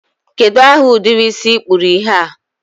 kedụ aha ụdịrị isi ị kpụrụ ihe a?